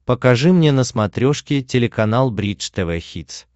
покажи мне на смотрешке телеканал бридж тв хитс